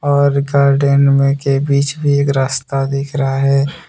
बाहर गार्डन में के बीच में एक रास्ता भी दिख रहा है।